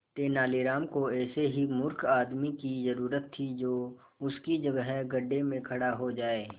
तेनालीराम को ऐसे ही मूर्ख आदमी की जरूरत थी जो उसकी जगह गड्ढे में खड़ा हो जाए